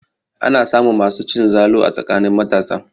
Ana samun masu cin zalu a tsakanin matasa.